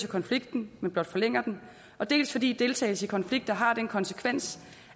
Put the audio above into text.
konflikten men blot forlænger den dels fordi deltagelse i konflikter har den konsekvens